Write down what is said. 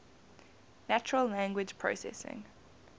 natural language processing